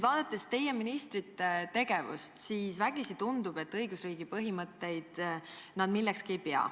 Vaadates teie ministrite tegevust, tundub vägisi, et õigusriigi põhimõtteid ei pea nad millekski.